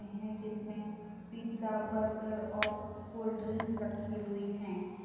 हैं जिसमें pizza burger और कोल्ड ड्रिंक्स रखी हुई हैं।